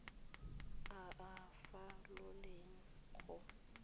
a a sa foleng go